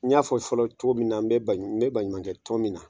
N y'a fɔ fɔlɔ cogo min na n bɛ n bɛ baɲumankɛ tɔn ɔmin na.